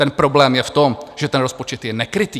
Ten problém je v tom, že ten rozpočet je nekrytý.